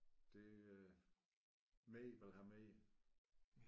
Det øh vigtigt man har med i det